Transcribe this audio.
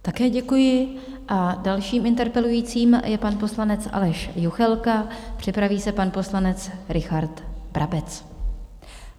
Také děkuji a dalším interpelujícím je pan poslanec Aleš Juchelka, připraví se pan poslanec Richard Brabec.